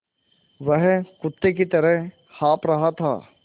वह कुत्ते की तरह हाँफ़ रहा था